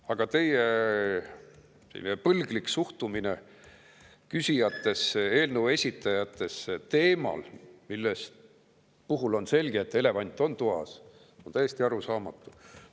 Aga teie põlglik suhtumine küsijatesse ja eelnõu esitajatesse teemal, mille puhul on selge, et elevant on toas, on täiesti arusaamatu.